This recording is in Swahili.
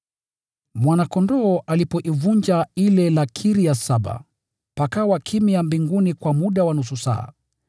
Mwana-Kondoo alipoivunja ile lakiri ya saba, pakawa kimya mbinguni kwa muda wa nusu saa.